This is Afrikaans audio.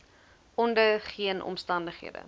onder geen omstandighede